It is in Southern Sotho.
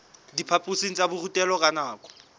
diphaphosing tsa borutelo ka nako